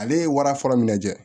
Ale ye wara fɔlɔ minɛ